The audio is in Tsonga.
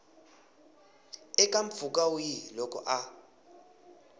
eka mpfhuka wihi loko a